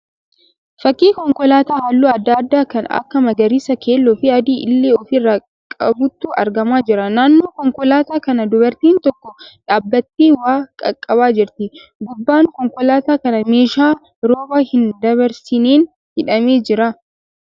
Fakkii konkolaataa halluu adda addaa kan akka magariisa, keelloo fi adii illee ofi irraa qabutu argamaa jira. Naannoo konkolaataa kanaa dubartiin tokko dhaabbattee waa qaqqabaa jirti. Gubbaan konkolaataa kanaa meeshaa rooba hin dabarsineen hidhamee jira.